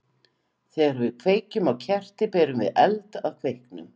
Þegar við kveikjum á kerti berum við eld að kveiknum.